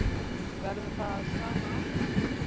Það verður það sama áfram.